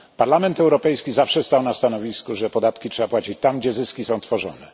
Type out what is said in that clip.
Parlament Europejski zawsze stał na stanowisku, że podatki trzeba płacić tam gdzie zyski są tworzone.